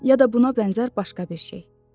Ya da buna bənzər başqa bir şey.